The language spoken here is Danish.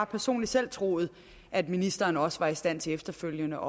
personligt selv troet at ministeren også var i stand til efterfølgende